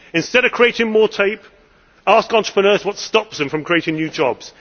Instead of creating more red tape, ask entrepreneurs what stops them from creating new jobs.